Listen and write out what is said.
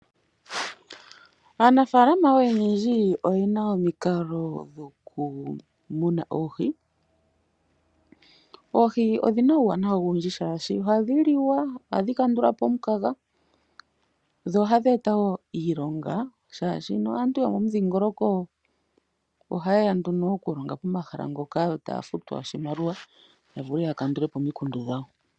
Aanafaalama oyendji oye na omikalo dhoku muna oohi. Oohi odhina uuwanawa owundji, shaashi ohadhi liwa. Ohadhi kandulapo omu kaga dho ohadhi eta wo iilonga, shaashi aantu yomo mu dhiingoloko oha yeya nduno oku longa koma hala ngoka, yo taya futwa oshimaliwa ya vule ya kandulepo omi kundu dhawo.